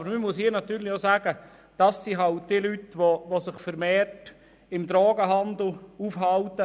Dazu muss man aber sagen, dass sich eben diese Leute vermehrt im Drogenhandel betätigen.